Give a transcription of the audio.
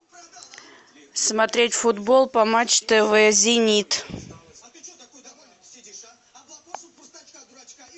смотреть футбол по матч тв зенит